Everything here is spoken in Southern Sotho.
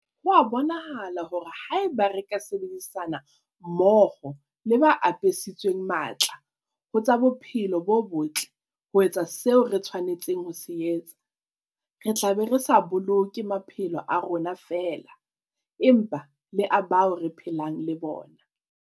Ho a bonahala hore haeba re ka sebedisana mmoho le ba apesitsweng matla ho tsa bophelo bo botle ho etsa seo re tshwanetseng ho se etsa, re tla be re sa boloke maphelo a rona feela, empa le a bao re phelang le bona.